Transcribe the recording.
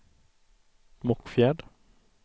Mockfjärd